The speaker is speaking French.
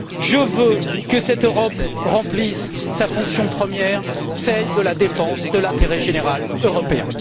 Je veux que cette Europe remplisse sa fonction première, celle de la défense de l'intérêt général européen.